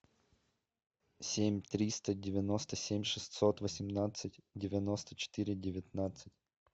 семь триста девяносто семь шестьсот восемнадцать девяносто четыре девятнадцать